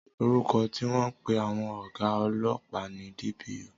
Orúkọ tí wọ́n ń pè àwọn ọ̀gá ọlọ́pàá ni DPO